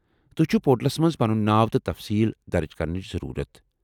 تۄہہ چھو پورٹلس منٛز پنُن ناو تہٕ تفصیٖل درج کرنٕچ ضرورت ۔